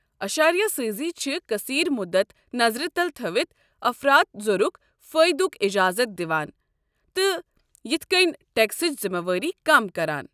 اشاریہ سٲزی چھِ قصیر مُدت نظرِِ تل تھوِتھ افراط زرٗک فٲیدُک اجازت دِوان، تہٕ یِتھہٕ کٔنۍ ٹٮ۪کسٕچ ذمہٕ وٲری کم کران۔